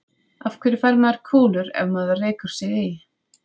Af hverju fær maður kúlur ef maður rekur sig í?